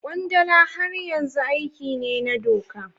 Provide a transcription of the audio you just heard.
Kwandala har yanzu aiki ne na doka.